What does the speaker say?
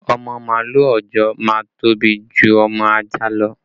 Ọmọ màálù òòjọ́ a máa tóbi ju ọmọ ajá lọ